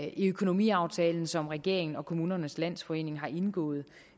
i økonomiaftalen som regeringen og kommunernes landsforening har indgået